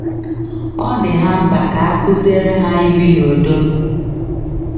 Ọ dị ha mkpa ka a kụziere ha ibi n’udo.